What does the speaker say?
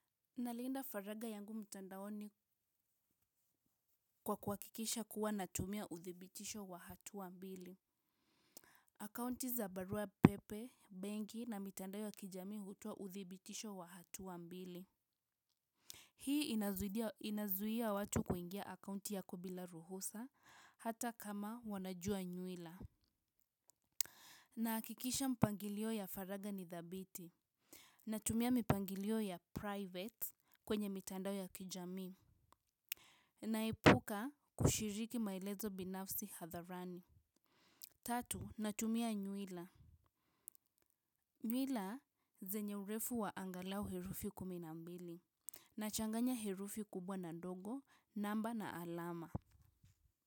Nalinda faraga yangu mtandaoni kwa kuhakikisha kuwa natumia uthibitisho wa hatua mbili akaunti za barua pepe, benki na mitandao ya kijamii hutoa uthibitisho wa hatua mbili hii inazuia watu kuingia akaunti yako bila ruhusa hata kama wanajua nyuila nahakikisha mpangilio ya faraga ni thabiti natumia mipangilio ya private kwenye mitandao ya kijamii. Naepuka kushiriki maelezo binafsi hadharani tatu, natumia nyuila. Nyuila zenye urefu wa angalau herufi kumi na mbili. Nachanganya herufi kubwa na ndogo, namba na alama.